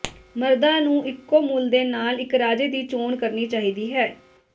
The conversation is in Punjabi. ਮਰਦਾਂ ਨੂੰ ਇੱਕੋ ਮੁੱਲ ਦੇ ਨਾਲ ਇੱਕ ਰਾਜੇ ਦੀ ਚੋਣ ਕਰਨੀ ਚਾਹੀਦੀ ਹੈ